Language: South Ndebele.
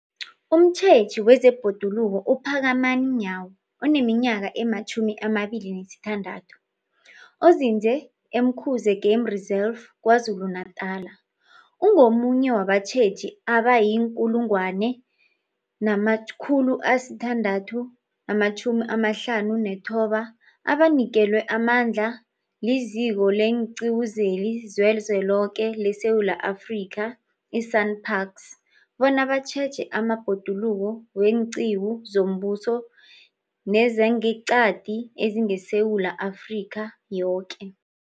Umtjheji wezeBhoduluko uPhakamani Nyawo oneminyaka ema-26, onzinze e-Umkhuze Game Reserve KwaZulu-Natala, ungomunye wabatjheji abayi-1 659 abanikelwe amandla liZiko leenQiwu zeliZweloke leSewula Afrika, i-SANParks, bona batjheje amabhoduluko weenqiwu zombuso nezangeqadi ezingeSewula Afrika yoke.